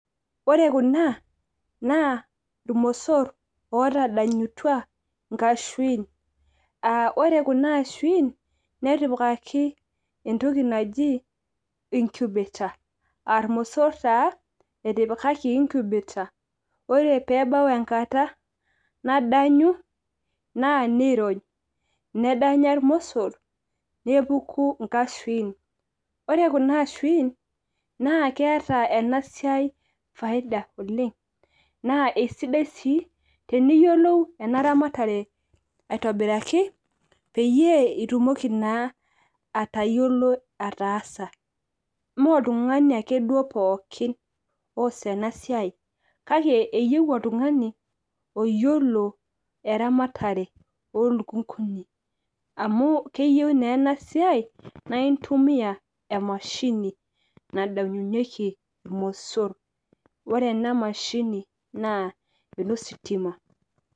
ore kuna naa irmosor ootadanyutua inkashuiin. ore kuna aishuin netipikaki entoki naji incubator aa irmosor taa etipikaki incubator ore pee ebau enkata nadanyu, naa nirony. nedanya irkmosor naa nepuku inkashuin. ore kuna ashuin naa keeta ena siai faida oleng. naa eisidai sii teniyiolou ena ramatare aitobiraki, peyiee itumoki naa atayiolo ataasa. ime oltungani ake duoo pookin oos ena siai. kake eyieu oltungani oyiolo eramatare, oo luknkuni. amu keyieu naa ena siai, naa intumia emashini nadanynyieki iromosr. pore ena mahini naa enositima.